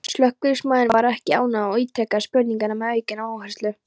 Slökkviliðsmaðurinn var ekki ánægður og ítrekaði spurninguna með aukinn áherslu.